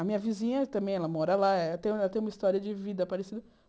A minha vizinha também, ela mora lá, ela tem ela tem uma história de vida parecida.